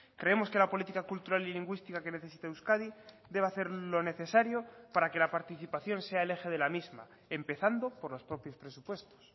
creemos que la política cultural y lingüística que necesita euskadi debe hacer lo necesario para que la participación sea el eje de la misma empezando por los propios presupuestos